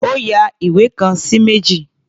Ó ya ìwé kan sí méjì.